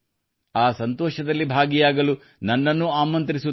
ಆ ಸಂತೋಷದಲ್ಲಿ ಭಾಗಿಯಾಗಲು ನನ್ನನ್ನೂ ಆಮಂತ್ರಿಸುತ್ತಾರೆ